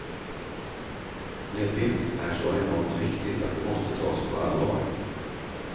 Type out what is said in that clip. Med det är så enormt viktigt att det måste tas på allvar.